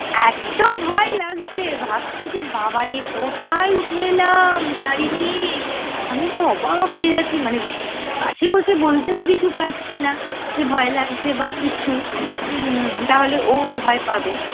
এত্ত ভয় লাগছে ভাবছি যে বাবারে কোথায় উঠে এলাম গাড়ি নিয়ে! আমি তো অবাক হয়ে যাচ্ছি, মানে পাশে বসে বলতেও কিছু পারছি না যে ভয় লাগছে বা কিছু হুম্ম তাহলে ও ও ভয় পাবে।